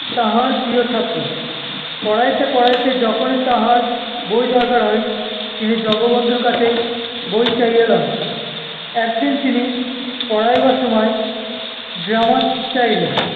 তাঁহার প্রিয় ছাত্র। পড়াইতে পড়াইতে যখন‍ই তাহাঁর ব‍ই দরকার হয়, তিনি জগবন্ধুর কাছেই ব‍ই চাহিয়া লন। একদিন তিনি পড়াইবার সময় grammar চাহিলেন,